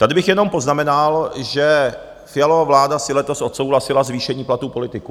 Tady bych jenom poznamenal, že Fialova vláda si letos odsouhlasila zvýšení platů politiků.